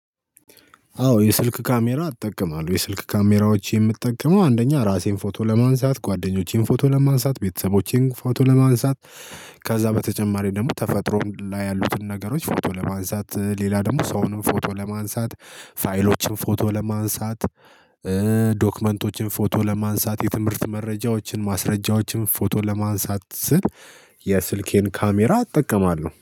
አዎ የስልክ ካሜራ አጠቀማለሁ የስልክ ካሜራዎች የምጠቀመው አንደኛ ራሴን ፎቶ ለማንሳት ጓደኞቼን ፎቶ ለማንሳት ቤተሰቦቼን ፎቶ ለማንሳት። ከዛ በተጨማሪ ደግሞ ተፈጥሮ ላይ ያሉትን ነገሮች ፎቶ ለማንሳት ሌላ ደግሞ ሰውንም ፎቶ ለማንሳት ፋይሎችን ፎቶ ለማንሳት። ዶክመንቶችን ፎቶ ለማንሳት የትምህርት መረጃዎችን ማስረጃዎችን ፎቶ ለማንሳት ስል። የስልኬን ካሜራ አጠቀማለሁ